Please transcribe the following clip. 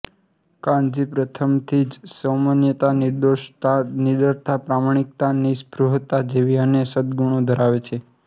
કાનજી પ્રથમથી જ સૌમ્યતા નિર્દોષતા નિડરતા પ્રમાણિકતા નિઃસ્પૃહતા જેવા અને સદગુણો ધરાવે છે